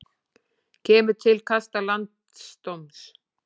Kemur til kasta landsdóms